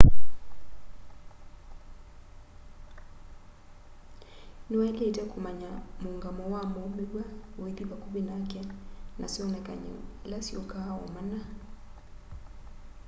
ni wailitwe kumanya muungamo wa muumiw'a withi vakuvi nake na syonekany'o ila syukaa o mana